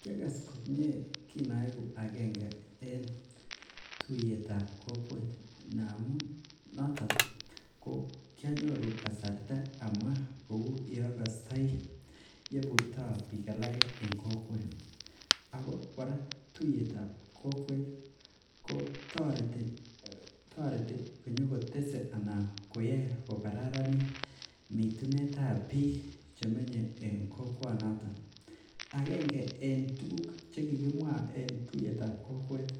Kiagas komie kinoegu agenge en tuyetab kokwet. Ndamun noto kianyuru kasarta kouu yeagastoii yeiburta biik alage en kokwet. Ako kora tuyetab kokwet kotoreti konyoko tese anan koyae kokaranit mitunetab bik chemenye en kokwanoto . Agenge en tukuk chekikimwaa en tuyetab kokwet ih ,